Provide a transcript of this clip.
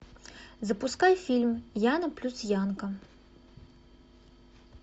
запускай фильм яна плюс янко